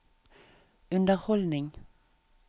underholdning